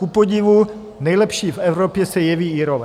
Kupodivu nejlepší v Evropě se jeví Irové.